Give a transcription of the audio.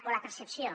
o la percepció